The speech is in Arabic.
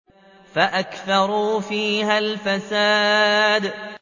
فَأَكْثَرُوا فِيهَا الْفَسَادَ